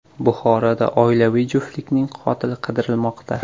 Buxoroda oilaviy juftlikning qotili qidirilmoqda.